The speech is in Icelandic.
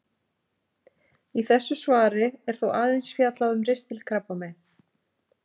Í þessu svari er þó aðeins fjallað um ristilkrabbamein.